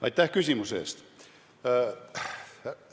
Aitäh küsimuse eest!